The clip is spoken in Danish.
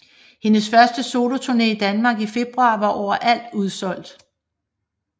Hendes første soloturné i Danmark i februar var overalt udsolgt